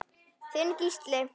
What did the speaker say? Þinn Gísli.